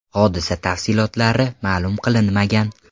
Hodisa tafsilotlari ma’lum qilinmagan.